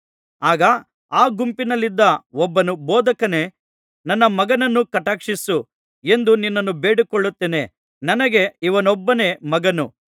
ಆಗ ಆ ಗುಂಪಿನಲ್ಲಿದ್ದ ಒಬ್ಬನು ಬೋಧಕನೇ ನನ್ನ ಮಗನನ್ನು ಕಟಾಕ್ಷಿಸು ಎಂದು ನಿನ್ನನ್ನು ಬೇಡಿಕೊಳ್ಳುತ್ತೇನೆ ನನಗೆ ಇವನೊಬ್ಬನೇ ಮಗನು